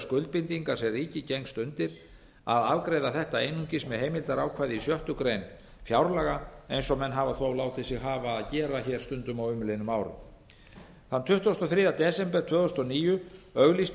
skuldbindinga sem ríkið gengst undir að afgreiða þetta einungis með heimildarákvæði í sjöttu grein fjárlaga eins og menn hafa þó látið sig hafa að gera hér stundum á umliðnum árum þann tuttugasta og þriðja desember tvö þúsund og níu auglýstu